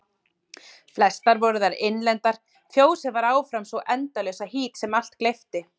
Flestar voru þær innlendar, fjósið var áfram sú endalausa hít sem allt gleypti.